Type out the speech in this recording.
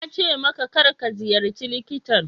Na ce maka, kar ka ziyarci likitan.